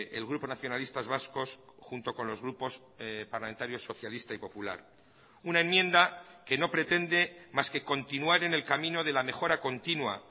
el grupo nacionalistas vascos junto con los grupos parlamentarios socialista y popular una enmienda que no pretende más que continuar en el camino de la mejora continua